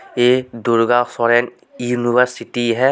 एक Durga foreign university है.